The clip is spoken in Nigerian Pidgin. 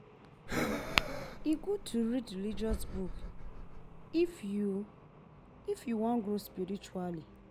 E gud to read religious book if yu if yu wan grow spiritually